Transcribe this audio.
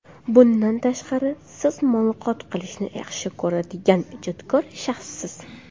Bundan tashqari, siz muloqot qilishni yaxshi ko‘radigan, ijodkor shaxssiz.